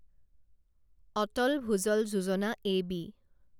Atal Bhujal Yojana AB